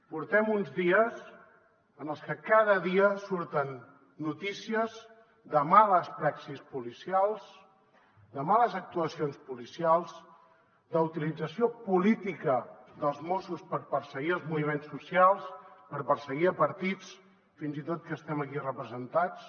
portem uns dies en els que cada dia surten notícies de males praxis policials de males actuacions policials d’utilització política dels mossos per perseguir els moviments socials per perseguir partits fins i tot que estem aquí representats